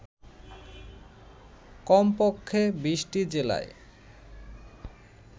কমপক্ষে ২০টি জেলায়